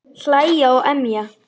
Hlæja og emja.